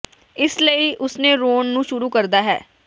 ਇਸ ਲਈ ਉਸ ਨੇ ਰੋਣ ਨੂੰ ਸ਼ੁਰੂ ਕਰਦਾ ਹੈ